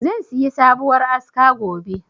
Zan siyi sabuwar aska gobe.